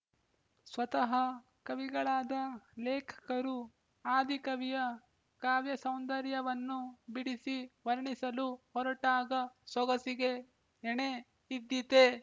ಸ್ವತಃ ಕವಿಗಳಾದ ಲೇಖಕರು ಆದಿಕವಿಯ ಕಾವ್ಯಸೌಂದರ್ಯವನ್ನು ಬಿಡಿಸಿ ವರ್ಣಿಸಲು ಹೊರಟಾಗ ಸೊಗಸಿಗೆ ಎಣೆ ಇದ್ದೀತೆ